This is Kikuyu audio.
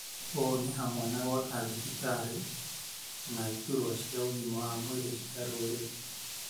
ũũ nĩ hamwe na gwaka thibitarĩ, na na iturwa cia ũgima wa mwĩrĩ cia rũrĩrĩ.